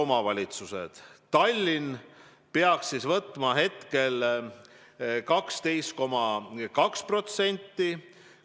Tallinna määr peaks olema 12,2% palga alammäärast.